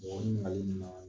Mɔgɔ mun